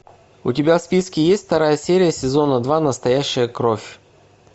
у тебя в списке есть вторая серия сезона два настоящая кровь